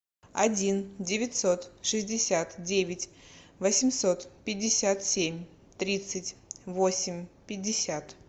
один девятьсот шестьдесят девять восемьсот пятьдесят семь тридцать восемь пятьдесят